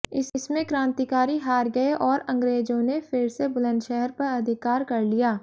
इसमें क्रांतिकारी हार गए और अंग्रेजों ने फिर से बुलंदशहर पर अधिकार कर लिया